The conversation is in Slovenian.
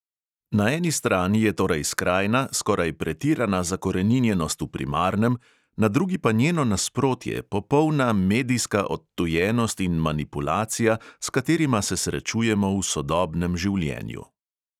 Na eni strani je torej skrajna, skoraj pretirana zakoreninjenost v primarnem, na drugi pa njeno nasprotje, popolna medijska odtujenost in manipulacija, s katerima se srečujemo v sodobnem življenju.